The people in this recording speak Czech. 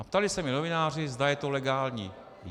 A ptali se mě novináři, zda je to legální.